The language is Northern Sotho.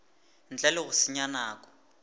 ntle le go senya nako